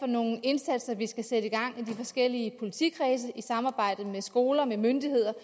nogle indsatser vi skal sætte i gang i de forskellige politikredse i samarbejde med skoler og myndigheder